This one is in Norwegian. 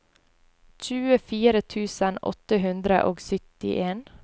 tjuefire tusen åtte hundre og syttien